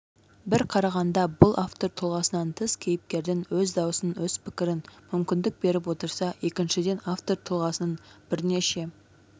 бір қарағанда бұл автор тұлғасынан тыс кейіпкердің өз дауысын өз пікірін мүмкіндік беріп отырса екіншіден автор тұлғасының бірнеше